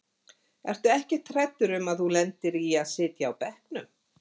Ertu ekkert hræddur um að þú lendir í að sitja á bekknum?